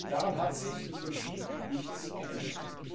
Daran hat sich im Prinzip nichts geändert.